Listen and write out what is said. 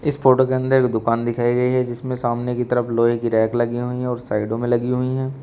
इस फोटो के अंदर एक दुकान दिखाई गई है जिसमें सामने की तरफ लोहे की रैक लगी हुई है और साइडों में लगी हुई है।